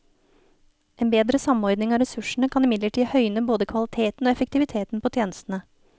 En bedre samordning av ressursene kan imidlertid høyne både kvaliteten og effektiviteten på tjenestene.